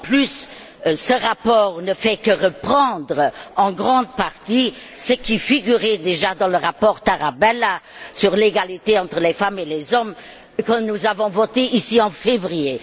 De plus, ce rapport ne fait que reprendre, en grande partie, ce qui figurait déjà dans le rapport Tarabella sur l'égalité entre les femmes et les hommes, que nous avons voté ici en février.